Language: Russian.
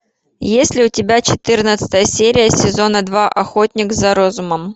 есть ли у тебя четырнадцатая серия сезона два охотник за разумом